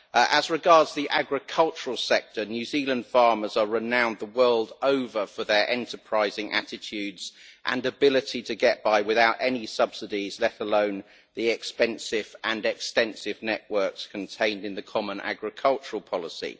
As regards the agricultural sector, New Zealand farmers are renowned the world over for their enterprising attitudes and ability to get by without any subsidies, let alone expensive and extensive networks such as those contained in the EU common agricultural policy.